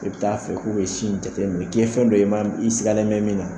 I bɛ taa a fɛ k'u eb sin in jateminɛ, k'i ye fɛn dɔ ye, i ma i sigalen bɛ min na.